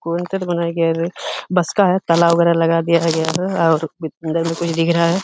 Cut बनाया गया है। बस का है। तालाब वगैरा लगा दिया गया है और अंदर में कुछ दिख रहा है।